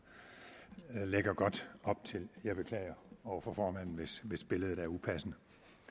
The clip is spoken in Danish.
lægger godt op til jeg beklager over for formanden hvis hvis billedet er upassende